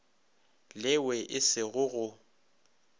lewe e se go go